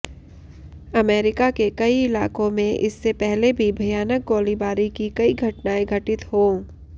America के कई इलाकों में इससे पहले भी भयानक गोलीबारी की कई घटनाएं घटित हो